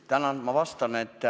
Tänan!